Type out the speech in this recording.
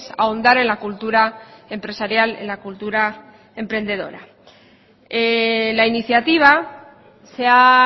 ahondar en la cultura empresarial en la cultura emprendedora la iniciativa se ha